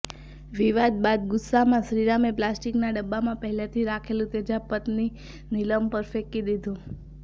વિવાદ બાદ ગુસ્સામાં શ્રીરામે પ્લાસ્ટિકના ડબ્બામાં પહેલેથી રાખેલું તેજાબ પત્ની નીલમ પર ફેંકી દીધું